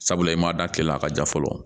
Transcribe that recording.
Sabula i ma da kile la a ka ja fɔlɔ